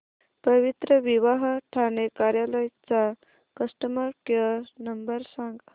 पवित्रविवाह ठाणे कार्यालय चा customer care number सांग